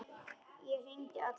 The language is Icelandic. Ég hringi allan daginn.